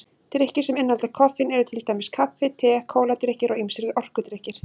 Drykkir sem innihalda koffein eru til dæmis kaffi, te, kóladrykkir og ýmsir orkudrykkir.